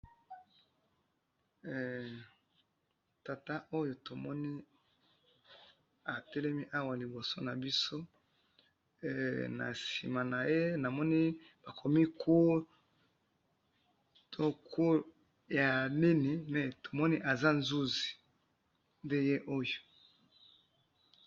Tata oyo tomoni ,atelemi awa liboso na biso ,na sima naye namoni bakomi court ,to court ya nini ,mais tomoni aza nzuzi nde ye oyo